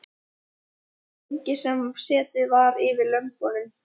Það var ekki lengi sem setið var yfir lömbunum.